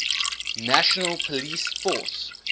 national police force